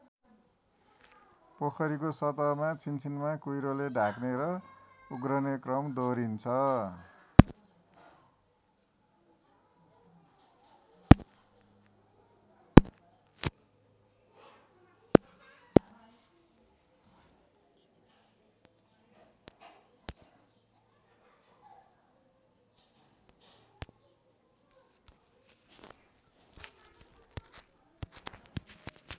पोखरीको सतहमा छिनछिनमा कुहिरोले ढाक्ने र उघ्रने क्रम दोहरिरहन्छ।